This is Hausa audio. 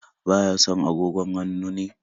Ba ya son agogon hannun ne?